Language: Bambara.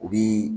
U bi